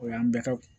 O y'an bɛɛ ka